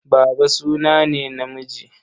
Baba suna ne na namiji.